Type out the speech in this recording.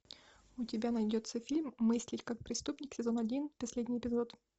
у тебя найдется фильм мыслить как преступник сезон один последний эпизод